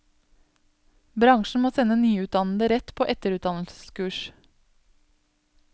Bransjen må sende nyutdannede rett på etterutdannelseskurs.